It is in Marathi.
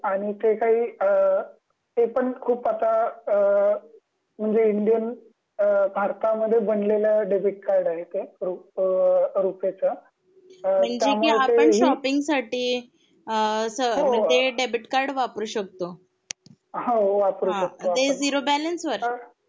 तर ते आणि ते काही अ ते पण खूप आता अ म्हणजे इंडियन अ भारता मध्ये बनलेलं डेबिट कार्ड आहे ते रुपे च